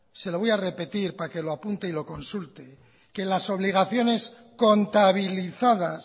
se lo voy a repetir para que lo apunte y lo consulte que las obligaciones contabilizadas